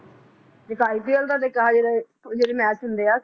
ਇੱਕ ipl ਦਾ ਇੱਕ ਹੈ ਜਿਹੜੇ ਮੈਚ ਹੁੰਦੇ ਆ